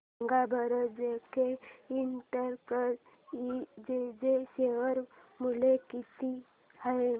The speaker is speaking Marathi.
सांगा बरं जेके इंटरप्राइजेज शेअर मूल्य किती आहे